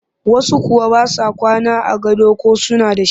Wasu kuwa ba sa kwana a gado ko suna da shi